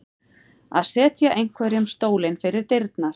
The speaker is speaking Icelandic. Að setja einhverjum stólinn fyrir dyrnar